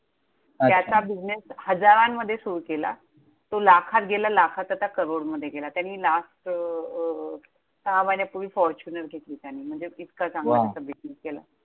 त्याचा अच्छा business हजारांमध्ये सुरु केला, तो लाखात गेला, लाखात आता करोडमध्ये गेला. त्याने last अं सहा महिन्यापूर्वी Fortuner घेतली त्याने म्हणजे इतका वा चांगला business केला.